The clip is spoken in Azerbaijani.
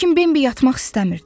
Lakin Bembi yatmaq istəmirdi.